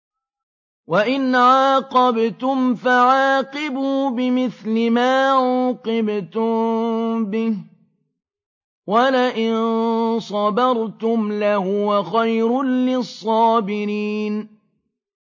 وَإِنْ عَاقَبْتُمْ فَعَاقِبُوا بِمِثْلِ مَا عُوقِبْتُم بِهِ ۖ وَلَئِن صَبَرْتُمْ لَهُوَ خَيْرٌ لِّلصَّابِرِينَ